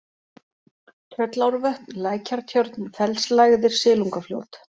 Tröllárvötn, Lækjartjörn, Fellslægðir, Silungafljót